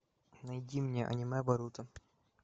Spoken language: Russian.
найди мне аниме боруто